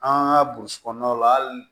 An ka burusi kɔnɔnaw la hali